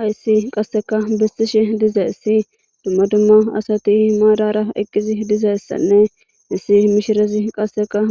Hayssi qasseka besishe duzayssi dumma dumma asati maadaara eqqidayssane issi mishiriya